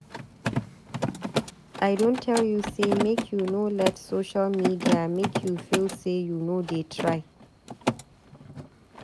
I don tell you sey make you no let social media make you feel sey you no dey try.